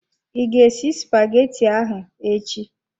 I ga esi spaghetti ahụ echi?